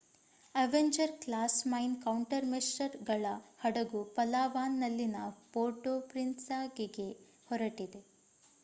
Avenger class mine ಕೌಂಟರ್‌ಮೆಶರ್‌ಗಳ ಹಡಗು ಪಲಾವಾನ್‌ನಲ್ಲಿನ ಪೋರ್ಟೋ ಪ್ರಿನ್ಸೆಸಾಗೆ ಹೊರಟಿದೆ